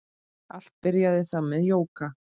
Allt byrjaði það með jóga.